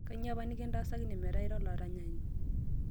kanyoo apa nikintaasakine metaa ira olaranyani?